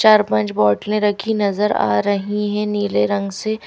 चार पांच बोतलें रखी नजर आ रही हैं नीले रंग से--